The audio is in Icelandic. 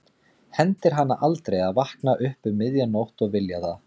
Hendir hana aldrei að vakna upp um miðja nótt og vilja það.